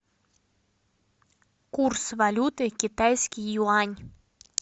курс валюты китайский юань